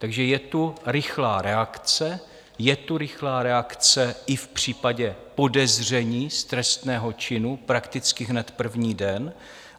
Takže je tu rychlá reakce, je tu rychlá reakce i v případě podezření z trestného činu prakticky hned první den.